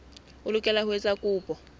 o lokela ho etsa kopo